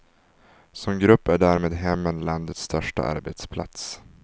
Som grupp är därmed hemmen landets största arbetsplats.